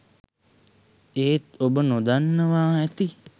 එත් ඔබ නොදන්නවා ඇති